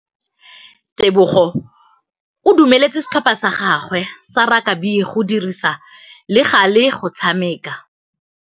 Tebogô o dumeletse setlhopha sa gagwe sa rakabi go dirisa le galê go tshameka.